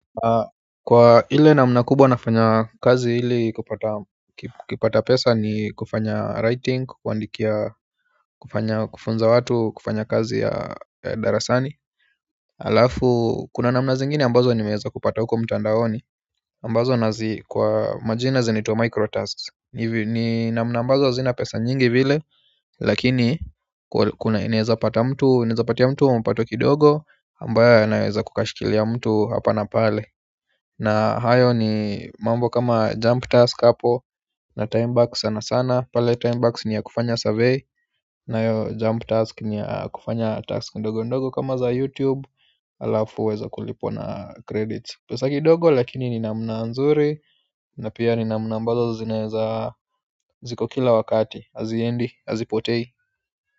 Kwa hile namna kubwa nafanya kazi ili kupata pesa ni kufanya writing kuandikia kufanya kufunza watu kufanya kazi ya darasani. Alafu kuna namna zingini ambazo nimeeza kupata huko mtandaoni ambazo nazi kwa majina zinaitua microtasks hivi ni namna ambazo hazina pesa nyingi vile lakini kuna ineza pata mtu, ineza patia mtu mpato kidogo ambayo yanaweza kukashikilia mtu hapa na pale na hayo ni mambo kama jump task hapo na time back sana sana pale time back ni ya kufanya survey na yo jump task ni ya kufanya task ndogo ndogo kama za YouTube ala uweze kulipwa na credits pesa kidogo lakini ni namna nzuri na pia ni namna ambazo zinaeza ziko kila wakati. Aziendi, azipotei.